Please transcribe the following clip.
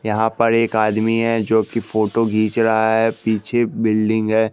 यहां पर एक आदमी है जो की फोटो घिच रहा है पीछे बिल्डिंग है।